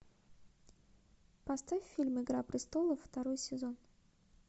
поставь фильм игра престолов второй сезон